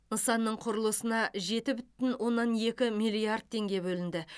нысанның құрылысына жеті бүтін оннан екі миллиард теңге бөлінді